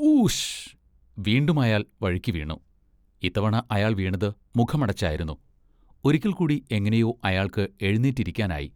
Whoosh! വീണ്ടുമയാൾ വഴുക്കിവീണു. ഇത്തവണ അയാൾ വീണത് മുഖമടച്ചായിരുന്നു. ഒരിക്കൽക്കൂടി എങ്ങനെയോ അയാൾക്ക് എഴുന്നേറ്റിരിക്കാനായി.